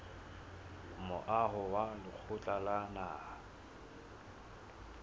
moaho wa lekgotla la naha